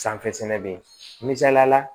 Sanfɛ sɛnɛ bɛ ye misaliyala